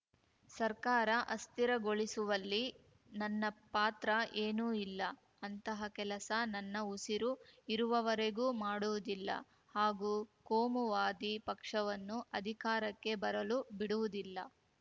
ಸರ್ಕಾರ ಅಸ್ಥಿರಗೊಳಿಸುವಲ್ಲಿ ನನ್ನ ಪಾತ್ರ ಏನೂ ಇಲ್ಲ ಅಂತಹ ಕೆಲಸ ನನ್ನ ಉಸಿರು ಇರುವವರಿಗೂ ಮಾಡುವುದಿಲ್ಲ ಹಾಗೂ ಕೋಮುವಾದಿ ಪಕ್ಷವನ್ನು ಅಧಿಕಾರಕ್ಕೆ ಬರಲು ಬಿಡುವುದಿಲ್ಲ